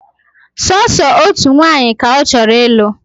Sooso otu nwanyị ka ọ chọrọ ịlụ